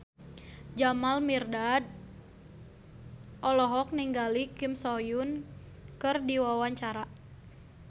Jamal Mirdad olohok ningali Kim So Hyun keur diwawancara